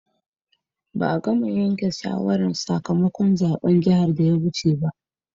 Ba'a gama yanken shawaran sakamakon zaben jihar da ya wuce ba.